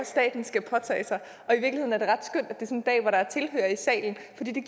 staten skal påtage sig og der er tilhørere i salen